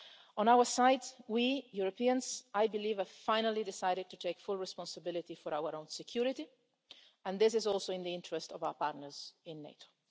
On our side, we Europeans have finally decided to take full responsibility for our own security, and this is also in the interest of our partners in NATO.